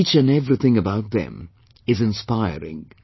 Each and everything about them is inspiring